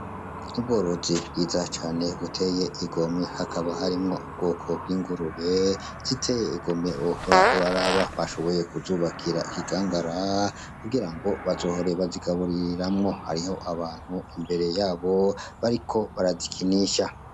Ubworozi bwiza cane buteye igomwe hakaba harimwo ubwoko bw'ingurube ziteye igomwe uhora uraraba bashoboye kuzubakira mu kigangara kugira ngo bazohore bazigaburiramwo hariho abantu imbere yabo bariko barazikinisha.